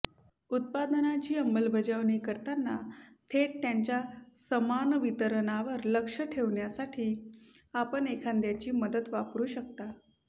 उत्पादनाची अंमलबजावणी करताना थेट त्याच्या समान वितरणावर लक्ष ठेवण्यासाठी आपण एखाद्याची मदत वापरू शकता